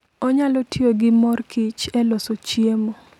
Onyalo tiyo gi mor kich e loso chiemo.